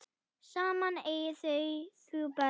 Saman eiga þau þrjú börn.